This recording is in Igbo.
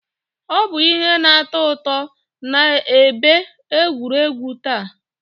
Ọ bụ ihe na-atọ ụtọ na ebe egwuregwu taa.